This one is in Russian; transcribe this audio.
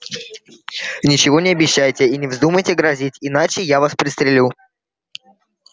ничего не обещайте и не вздумайте грозить иначе я вас пристрелю